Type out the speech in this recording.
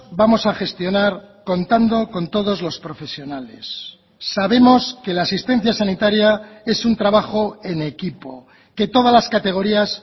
vamos a gestionar contando con todos los profesionales sabemos que la asistencia sanitaria es un trabajo en equipo que todas las categorías